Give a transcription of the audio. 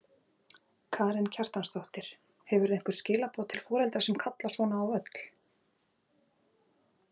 Karen Kjartansdóttir: Hefurðu einhver skilaboð til foreldra sem kalla svona á völl?